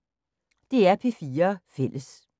DR P4 Fælles